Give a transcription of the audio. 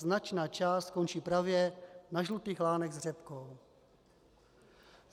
Značná část skončí právě na žlutých lánech s řepkou.